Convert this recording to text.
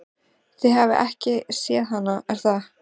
Þið hafið ekki séð hana, er það?